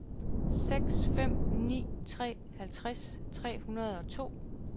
seks fem ni tre halvtreds tre hundrede og to